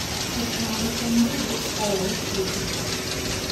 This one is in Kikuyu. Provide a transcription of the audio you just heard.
Ndũkareke mũndũ oe kĩndũ hau